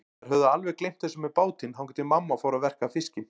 Þær höfðu alveg gleymt þessu með bátinn, þangað til mamma fór að verka fiskinn.